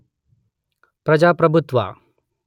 ಪ್ರಜಾಪ್ರಭುತ್ವ